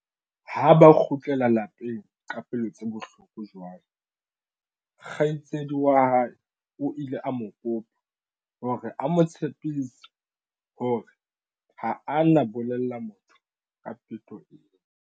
Ha ba kgutlela lapeng ka pelo tse bohloko jwalo, kgaitsedi wa hae o ile a mo kopa hore a mo tshepise hore ha a na bolella motho ka peto ena.